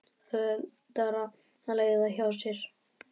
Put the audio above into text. Auðveldara að leiða það hjá sér.